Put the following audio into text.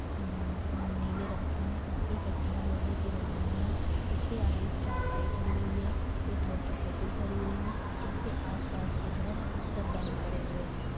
न्न्न नीले रंग के हैं। इसकी खिड़कियां लोहे की बनी हुई हैं। इसके आगे एक चारपाई खड़ी हुई है एक मोटरसाइकिल खड़ी हुई है। इसके आसपास के घर सब बंद पड़े हुए हैं।